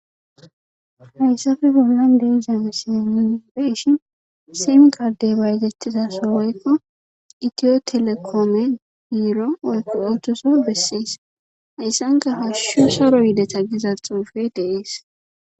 Hayssafe bollan deizame si minibeshin simikardey baytettizaso woykko itiyo telekoome diiro woykko otoso bessiis hayssanka hashshu saro yideta giza xuufe deiis.